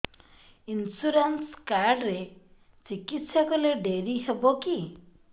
insurance card ରେ ଚିକିତ୍ସା କଲେ ଡେରି ହବକି